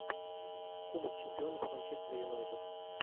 кубок чемпионов манчестер юнайтед